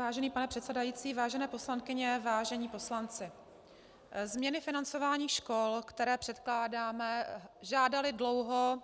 Vážený pane předsedající, vážené poslankyně, vážení poslanci, změny financování škol, které předkládáme, žádaly dlouho